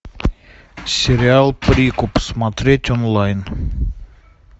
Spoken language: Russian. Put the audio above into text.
сериал прикуп смотреть онлайн